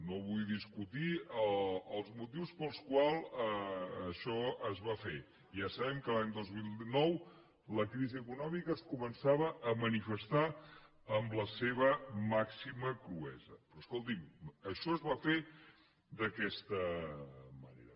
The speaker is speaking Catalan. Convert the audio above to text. no vull discutir els motius pels quals això es va fer ja sabem que l’any dos mil nou la crisi econòmica es començava a manifestar amb la seva màxima cruesa però escolti’m això es va fer d’aquesta manera